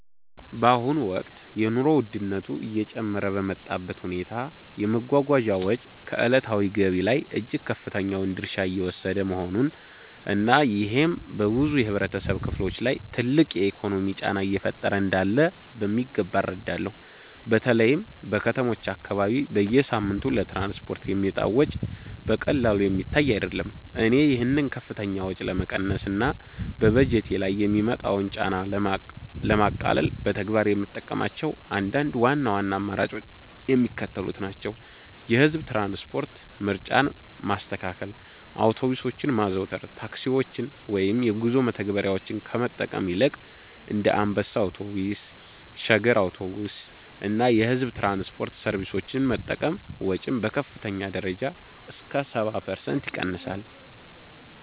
በአሁኑ ወቅት የኑሮ ውድነቱ እየጨመረ በመጣበት ሁኔታ፣ የመጓጓዣ ወጪ ከዕለታዊ ገቢ ላይ እጅግ ከፍተኛውን ድርሻ እየወሰደ መሆኑን እና ይሄም በብዙ የህብረተሰብ ክፍሎች ላይ ትልቅ የኢኮኖሚ ጫና እየፈጠረ እንዳለ በሚገባ እረዳለሁ። በተለይም በከተሞች አካባቢ በየሳምንቱ ለትራንስፖርት የሚወጣው ወጪ በቀላሉ የሚታይ አይደለም። እኔ ይህንን ከፍተኛ ወጪ ለመቀነስ እና በበጀቴ ላይ የሚመጣውን ጫና ለማቃለል በተግባር የምጠቀምባቸው አንዳንድ ዋና ዋና አማራጮች የሚከተሉት ናቸው፦ የህዝብ ትራንስፖርት ምርጫን ማስተካከል አውቶቡሶችን ማዘውተር፦ ታክሲዎችን ወይም የጉዞ መተግበሪያዎችን ከመጠቀም ይልቅ እንደ አንበሳ አውቶቡስ፣ ሸገር አውቶቡስ እና የሕዝብ ትራንስፖርት ሰርቪሶችን መጠቀም ወጪን በከፍተኛ ደረጃ እስከ 70% ይቀንሳል።